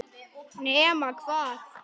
Nema hvað?